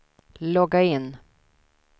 logga in